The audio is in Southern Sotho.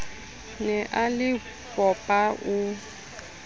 ne a le popa o